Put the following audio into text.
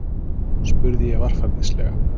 spurði ég varfærnislega.